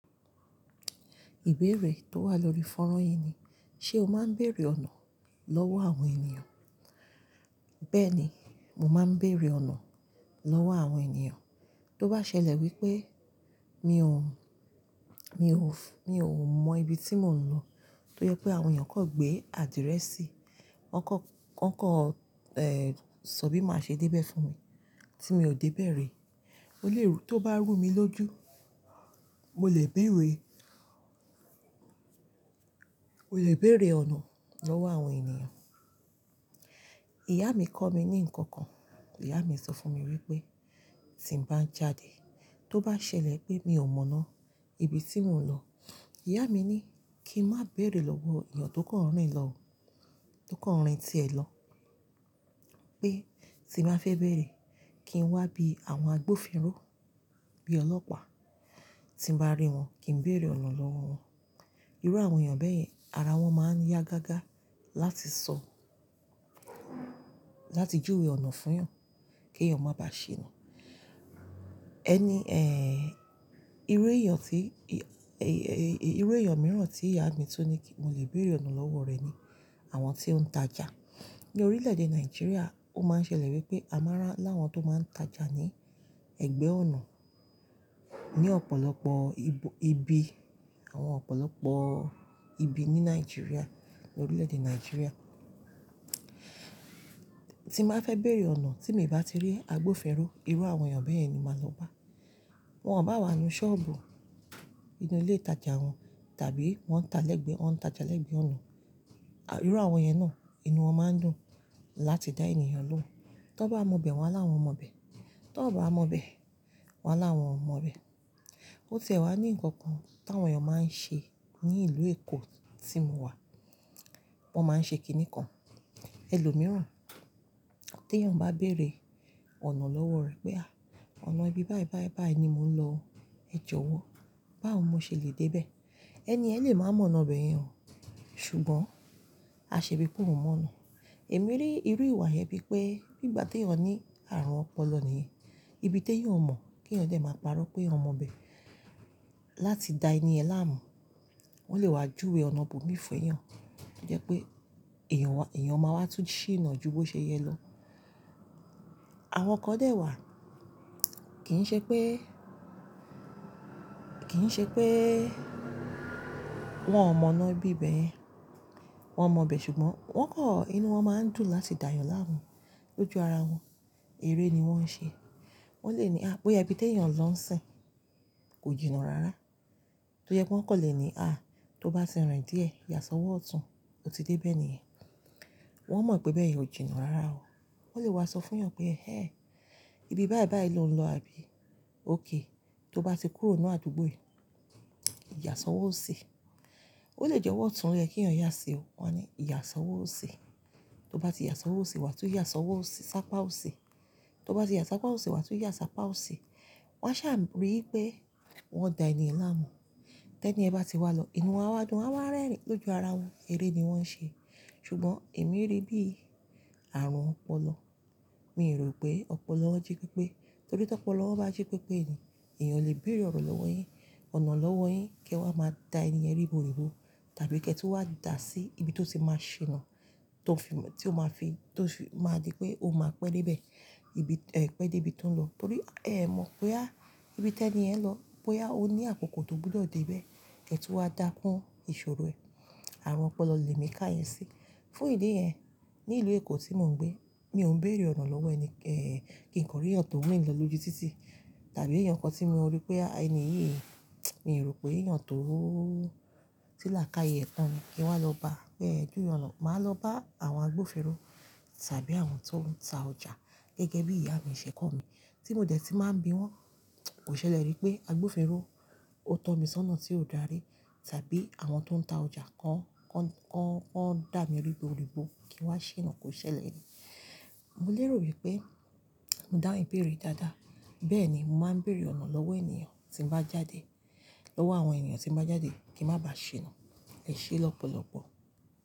Ìbeere tó wà lórí fọ́nrán yìí ni, ṣe o máa ń bèrè ọ̀nà lọ́wọ́ àwọn ènìyàn? Bẹ́ẹ̀ni, mo máa ń bèrè ọ̀nà lọ́wọ́ àwọn ènìyàn. Tó bá ṣẹlẹ̀ wípé mi ò, mi ò f- mi ò mọ ibi tí mò ń lọ, tó yẹ pé àwọn èèyàn kò gbé adirẹsi, wọ́n kọ́, wọ́n kọ́, eh, sọ bí màá ṣe dé bẹ́ẹ̀ fún mi tí mi ò dé bẹ̀rẹ̀, ó lè rú-- tó bá rú mi lójú, mo lè béèrè, mo lè béèrè ọ̀nà lọ́wọ́ àwọn ènìyàn. Ìyá mi kọ́ mi ní nǹkan kan. Ìyá mi sọ fún mi wípé, tí ń bá ń jáde, tó bá ṣẹlẹ̀ pé mi ò mọ̀nà ibi tí mò ń lọ, ìyá mi ní kí ń má bèrè lọ́wọ́ èèyàn tó kàn rìn lọ, tó kàn rìn tí ẹ̀ lọ. Pé tí mo bá fẹ́ bèrè, kí n wá bí àwọn agbófinró, bí ọlọ́pàá. Tí mo bá rí wọn, kí ń bèrè ọ̀nà lọ́wọ́ wọn. Irú àwọn èèyàn bẹ́ẹ̀ yẹn, ara wọn máa ń yá gágá láti sọ, láti júwe ọ̀nà fún ẹ, kí ẹ̀yàn máa ba ṣe nà. Ẹni, eh, irú èèyàn tí, e-e-e irú èèyàn mìíràn tí ìyá mi tún ní kí mo lè bèrè ọ̀nà lọ́wọ́ rẹ̀ ni àwọn tó ń tajà. Ni orílẹ̀-èdè Nàìjíríà, ó máa ń ṣẹlẹ̀ wípé a máa rà láwọn tó máa ń tajà ní ẹgbẹ́ ọ̀nà ní ọ̀pọ̀lọpọ̀ ibo-- ibi, àwọn ọ̀pọ̀lọpọ̀ ibi ní Nàìjíríà, ní orílẹ̀-èdè Nàìjíríà. Tí bá fẹ́ bèrè ọ̀nà tí mi ò bá ti rí agbófinró, irú àwọn èèyàn bẹ́ẹ̀ yen màá lọ bá. Wọn bá wà ní ṣọ́ọ̀bù inú ilé ìtajà wọn, tàbí wọ́n ń ta lẹ́gbẹ́, wọn ń ta lẹ́gbẹ́ ọ̀nà, à, irú àwọn èèyàn náà, inú wọn máa ń dùn láti dá èèyàn lóhùn. Tó bá mọ̀ bee, wọn á láwọn mọ̀ bẹe, tó bá mọ̀ bẹe, wọn á láwọn mọ̀ bẹe. Ó ti wa ní nǹkan kan tí àwọn èèyàn máa ń ṣe ní ìlú Èkó tí mo wà. Wọn máa ń ṣe kìíní kan, ẹlòmíràn. Tí èèyàn bá bèrè ọ̀nà lọ́wọ́ rẹ̀ pé a, ọ̀nà ibi báyìí-báyìí-báyìí ni mò ń lọ, ẹ jọ̀wọ́ báwo mo ṣe lè dé bee? Ẹni yen lè máa mọ̀nà ibe yen, ṣùgbọ́n a ṣe bí pé òun mọ̀ ọ̀nà. Èmi rí irú ìwà yìí bí pé bí ìgbà tí èèyàn ní àrùn ọpọlọ nìyẹn, ibi tí èèyàn mọ̀ kí èèyàn lè máa parọ́ pé eeyan mo bee, láti da ẹni yen láàmú, wọ́n lè wá júwe ọ̀nà ibo mi fẹ́yàn. Ó jẹ́ pé èèyàn wa-- èèyàn máa wá tún ṣí iná ju bó ṣe yẹ lọ. Àwọn ọkọ dẹ́ wa, kì ń ṣe pé, kì ń ṣe pé wọ́n ò mọ̀nà ibi bẹ́ẹ̀ yẹn, wọ́n mọ̀ bẹ ṣùgbọ́n wọ́n kọ́, inú wọn máa ń dùn láti dá èèyàn láàmú lójú ara wọn. Eré ni wọ́n ń ṣe. Wọ́n lè ní, à, boya ibi tí èèyàn lọ ń sìn kò jìnnà rára. Tó yẹ pé wọ́n kò lè ní, à, tó bá tì rin díẹ̀, yàsọwọ́ ọ̀tún, ó ti dé bẹ́ẹ̀ nìyẹn. Wọ́n mọ̀ pé bẹ́ẹ̀ yẹn ò jìnnà rára o. Wọ́n lè wá sọ fún èèyàn pé, "Ẹ̀ẹ́, ibi báyìí-báyìí lo ń lọ àbí? Óké, tó bá ti kúrò ní àdúgbò yìí, yàsọwọ́ òsi. Ó lè jẹ́ ọ̀wọ̀ ọ̀tún ló yẹ kí ẹ̀yàn yà sí o. Wọ́n a ní yàsọwọ́ òsi Tó bá ti yà sọwọ́ òsi, wàá tún yà sọwọ́ òsi, sápá òsi. Tó bá ti yà sápá òsi, wàá tún yà sápá òsi Wọ́n ṣà ri wipé wọ́n dá eniyàn láàmú. Tẹ́ ẹniyan bá ti wá lọ, inú wọn á wa dùn, wọ́n á wa rẹ́rìn-ín lójú ara wọn. Eré ni wọ́n ń ṣe. Ṣùgbọ́n èmi rí bí àrùn ọpọlọ, mi rò pé ọpọlọ won jẹ́ pi pé. Torí tí ọpọlọ won bá ji pé pé ni èèyàn o lè bèrè ọ̀nà lọ́wọ́ yin, ọ̀nà lọ́wọ́ yin kí ẹ wá máa dá èniyàn ríbo ribo tàbí kí ẹ tun wá dà sí ibi tí ó tì máa ṣina tó fi mọ-- tí ó máa fi, tó fi máa di pé o máa pẹ́ dé ibẹ̀, ibi, eh, pẹ́ dé ibi tí ò ń lọ. Torí ẹ mọ̀ boya, ibi tẹ́ ẹniyen lọ, boya, ó ní àkókò tó gbúdọ̀ dé bẹ́ẹ̀, kí ẹ tun wá dà kún ìṣòro ẹ̀. Àrùn ọpọlọ lè mi ká yẹn sí i. Fún ìdí yẹn, ní ìlú Èkó tí mò ń gbé, mi ò ń bèrè ọ̀nà lọ́wọ́ ẹni, eh, kí n kọrí ẹ̀yàn tó rin lọ lójú títì tàbí ẹ̀yàn kan tí mo rí pé, a, ẹni yìí, mi rò pé èèyàn tó ti lákaaye tán ni kí n wá lọ bá. Pé ẹ juwe ona, màá lọ bá àwọn agbófinró tàbí àwọn tó ń ta ọjà gẹ́gẹ́ bí ìyá mi ṣẹ̀ kọ́ mi tí mo dẹ̀ tí màá ń bi wọ́n. Kò ṣẹlẹ̀ rí pé agbófinró ó tọ́ mi sọ́nà tí ò dárí tàbí àwọn tó ń ta ọjà kan, kan, kan, kan dà mí ribo ribo kí n wá ṣinà kò ṣẹlẹ̀ rii. Mo lè rò wípé mo dáhunn ìbéèrè yidáadáa. Bẹ́ẹ̀ ni, mo máa ń bèrè ọ̀nà lọ́wọ́ èniyàn tí ń bá jáde, lọ́wọ́ àwọn èniyàn tí ń bá jáde kí n má bà ṣinà ẹṣẹ lọpọ̀lọpọ̀.